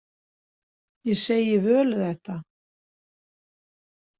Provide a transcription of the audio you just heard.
Ég segi Völu þetta.